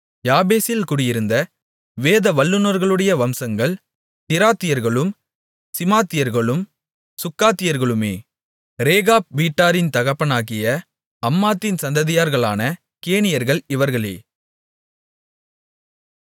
யாபேசில் குடியிருந்த வேத வல்லுனர்களுடைய வம்சங்கள் திராத்தியர்களும் சிமாத்தியர்களும் சுக்காத்தியர்களுமே ரேகாப் வீட்டாரின் தகப்பனாகிய அம்மாத்தின் சந்ததியார்களான கேனியர்கள் இவர்களே